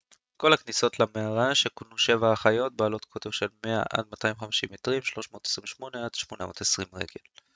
"כל הכניסות למערה שכונו "שבע האחיות" בעלות קוטר של לפחות 100 עד 250 מטרים 328 עד 820 רגל.